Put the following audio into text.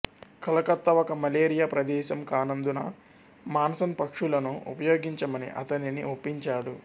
కలకత్తా ఒక మలేరియా ప్రదేశం కానందున మాన్సన్ పక్షులను ఉపయోగించమని అతనిని ఒప్పించాడు